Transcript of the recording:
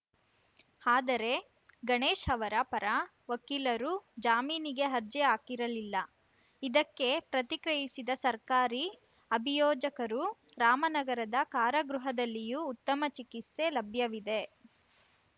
ಆದರೆ ಗಣೇಶ್‌ ಅವರ ಪರ ವಕೀಲರು ಜಾಮೀನಿಗೆ ಅರ್ಜಿ ಹಾಕಿರಲಿಲ್ಲ ಇದಕ್ಕೆ ಪ್ರತಿಕ್ರಿಯಿಸಿದ ಸರ್ಕಾರಿ ಅಭಿಯೋಜಕರು ರಾಮನಗರದ ಕಾರಾಗೃಹದಲ್ಲಿಯೂ ಉತ್ತಮ ಚಿಕಿತ್ಸೆ ಲಭ್ಯವಿದೆ